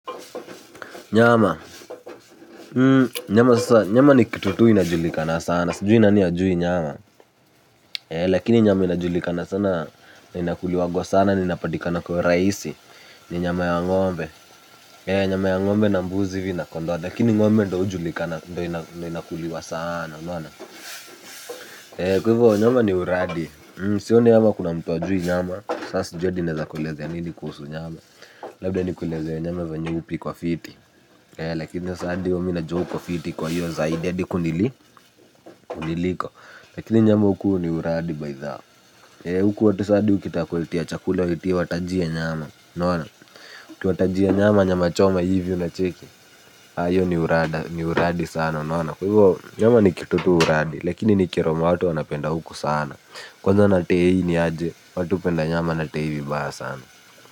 Nyama, nyama ni kitutu inajulikana sana, sujui nani ajui nyama. Lakini nyama inajulikana sana, inakuliwagwa sana, inapatikana kwa urahisi. Ni nyama ya ng'ombe, nyama ya ng'ombe na mbuzi vina pondwa. Lakini ng'ombe ndio ujulikana, ndo inakuliwa sana. Kwa hivyo nyama ni uradi, sioni ama kuna mtu ajui nyama. Sasa jui hadi naweza kulezea nini kuhusu nyama. Labda ni kulezea nyama venye upikwa fiti ee lakini saadiyo mina jua uko fiti kwa hiyo zaidi hadi kuniliko lakini nyama huku ni uradi baizao ee huku watu saadiyo kita kulitia chakule watu watajia nyama unaona kiwatajia nyama nyama choma hivyo na cheki hiyo ni uradi sana unaona nyama nikitutu uradi lakini nikitomato wana penda huku sana kwa hivyo natee hii niaje watu penda nyama natee hivyo baa sana.